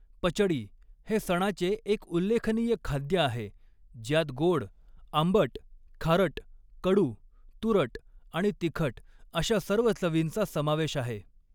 पचडी हे सणाचे एक उल्लेखनीय खाद्य आहे ज्यात गोड, आंबट, खारट, कडू, तुरट आणि तिखट अशा सर्व चवींचा समावेश आहे.